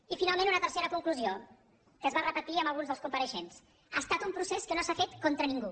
i finalment una tercera conclusió que es va repetir amb alguns dels compareixents ha estat un procés que no s’ha fet contra ningú